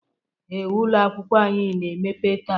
ee, ụlọ akwụkwọ anyị na-emepe taa